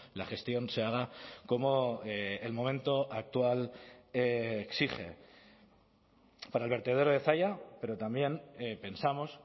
la gestión se haga como el momento actual exige para el vertedero de zalla pero también pensamos